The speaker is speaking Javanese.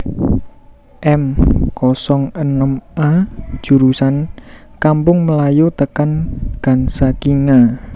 M kosong enem A jurusan Kampung Melayu tekan Gansakinga